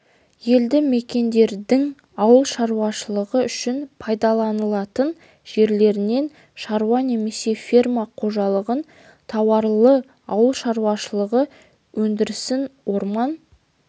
елді мекендердің ауыл шаруашылығы үшін пайдаланылатын жерлерінен шаруа немесе фермер қожалығын тауарлы ауыл шаруашылығы өндірісін орман